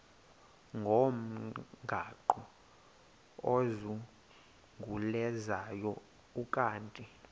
ngomgaqo ozungulezayo ukanti